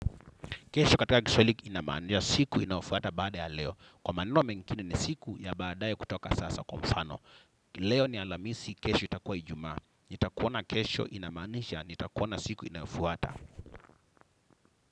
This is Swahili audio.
Kesho katika kiswahili inamaanisha siku inayofuata baada ya leo. Kwa maneno mengine ni siku ya baadaye kutoka sasa kwa mfano. Leo ni alhamisi kesho itakua Ijumaa. Nitakuona kesho inamaanisha, nitakuona siku inayofuata.